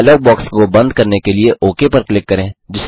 dialogue box को बंद करने के लिए ओक पर क्लिक करें